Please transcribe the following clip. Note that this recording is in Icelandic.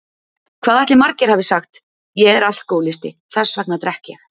Hvað ætli margir hafi sagt: Ég er alkohólisti, þess vegna drekk ég!